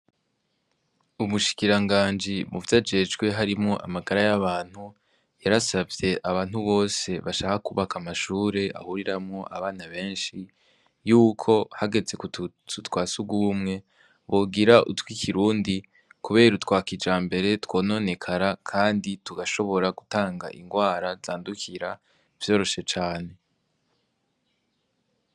Umushikiranganji muvyo ajejwe harimwo amagara y'abantu, yarasavye abantu bose bashaka kubaka amashure ahuriramo abana benshi yuko hageze ku tuzu twa sugumwe bogira utw'ikirundi, kubera utwa kijambere twononekara kandi tugashobora gutanga indwara zandukira vyoroshe cane.